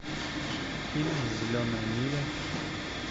фильм зеленая миля